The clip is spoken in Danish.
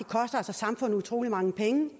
og samfundet utrolig mange penge